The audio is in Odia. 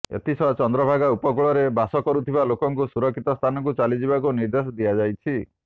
ଏଥିସହ ଚନ୍ଦ୍ରଭାଗା ଉପକୂଳରେ ବାସ କରୁଥିବା ଲୋକଙ୍କୁ ସୁରକ୍ଷିତ ସ୍ଥାନକୁ ଚାଲି ଯିବାକୁ ନିର୍ଦ୍ଦେଶ ଦିଆଯାଇଛି